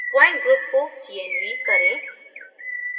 point group को cnv करें